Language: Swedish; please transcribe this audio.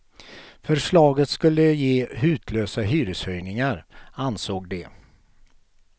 Förslaget skulle ge hutlösa hyreshöjningar, ansåg de.